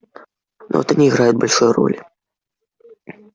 но это не играет большой роли